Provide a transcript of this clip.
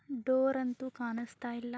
Door ಅಂತೂ ಕಾಣಿಸ್ತಾ ಇಲ್ಲ ಹಾ.